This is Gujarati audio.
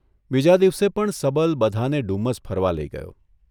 બીજા દિવસે પણ સબલ બધાંને ડુમસ ફરવા લઇ ગયો.